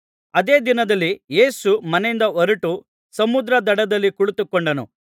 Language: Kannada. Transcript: ಆದೇ ದಿನದಲ್ಲಿ ಯೇಸು ಮನೆಯಿಂದ ಹೊರಟು ಸಮುದ್ರದ ದಡದಲ್ಲಿ ಕುಳಿತುಕೊಂಡನು